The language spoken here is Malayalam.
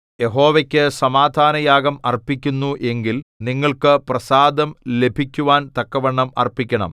യഹോവയ്ക്കു സമാധാനയാഗം അർപ്പിക്കുന്നു എങ്കിൽ നിങ്ങൾക്ക് പ്രസാദം ലഭിക്കുവാൻ തക്കവണ്ണം അർപ്പിക്കണം